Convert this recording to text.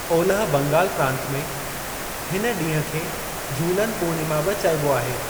ओलिहि बंगाल प्रांत में, हिन ॾींहुं खे झूलन पूर्णिमा बि चइबो आहे।